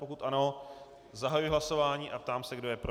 Pokud ano, zahajuji hlasování a ptám se, kdo je pro.